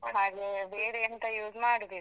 ಹಾಗೇ ಬೇರೆ ಎಂತ use ಮಾಡುದಿಲ್ಲ.